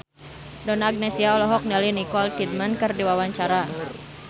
Donna Agnesia olohok ningali Nicole Kidman keur diwawancara